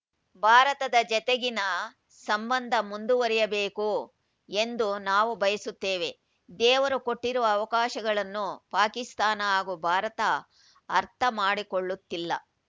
ಭಾರತದ ಜತೆಗಿನ ಸಂಬಂಧ ಮುಂದುವರಿಯಬೇಕು ಎಂದು ನಾವು ಬಯಸುತ್ತೇವೆ ದೇವರು ಕೊಟ್ಟಿರುವ ಅವಕಾಶಗಳನ್ನು ಪಾಕಿಸ್ತಾನ ಹಾಗೂ ಭಾರತ ಅರ್ಥ ಮಾಡಿಕೊಳ್ಳುತ್ತಿಲ್ಲ